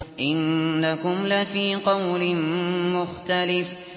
إِنَّكُمْ لَفِي قَوْلٍ مُّخْتَلِفٍ